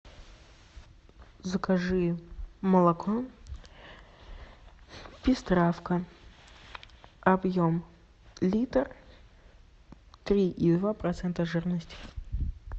закажи молоко пестравка объем литр три и два процента жирности